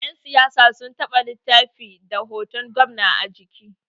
Yansiyasa sun taba littafi da hoton gwamna a jiki